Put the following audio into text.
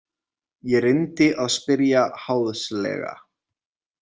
Ég reyndi að spyrja háðslega.